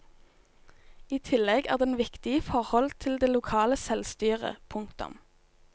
I tillegg er den viktig i forhold til det lokale selvstyret. punktum